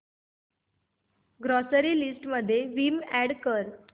grocery list मध्ये Vim add कर